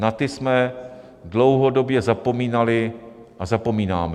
Na ty jsme dlouhodobě zapomínali a zapomínáme.